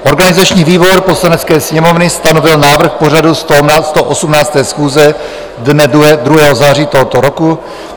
Organizační výbor Poslanecké sněmovny stanovil návrh pořadu 118. schůze dne 2. září tohoto roku.